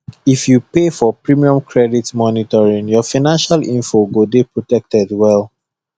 if you pay for premium credit monitoring your financial info go dey protected well